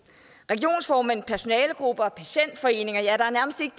regionsformænd personalegrupper og patientforeninger ja der er nærmest ikke